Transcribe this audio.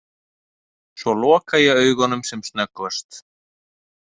Svo loka ég augunum sem snöggvast.